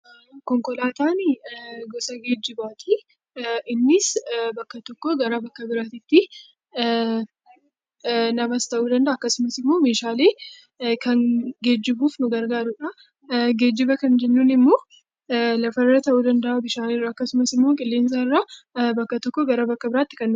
Konkolaatani gosa geejjibaati, innis bakka tokko bakka biraatti namas ta'uu danda'a akkasumas meeshaalee kan geejjibuuf nu gargaarudha. Geejjiba kan jennu immoo lafarra ta'uu danda'a akkasumas immoo qilleensarra bakka tokkoo bakka biraatti deemuuf nu gargaarudha.